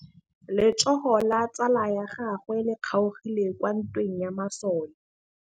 Letsôgô la tsala ya gagwe le kgaogile kwa ntweng ya masole.